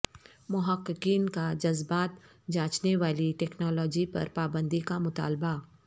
محققین کا جذبات جانچنے والی ٹیکنالوجی پر پابندی کا مطالبہ